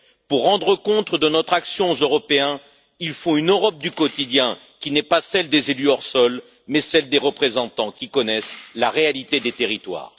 Pour rendre compte de notre action aux Européens, il faut une Europe du quotidien qui n'est pas celle des élus hors sol, mais celle des représentants qui connaissent la réalité des territoires.